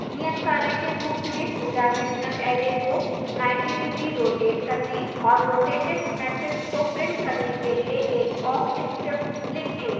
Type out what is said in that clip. नियतकार्य के रूप में two dimensional array को 90 डिग्री रोटेट करने और रोटेटेड matrix को प्रिंट करने के लिए एक awk script लिखें